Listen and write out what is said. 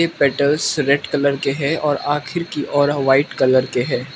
यह petals red colour के है और आखिर की ओर वाइट कलर के है।